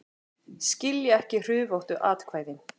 Skilja ekki hrufóttu atkvæðin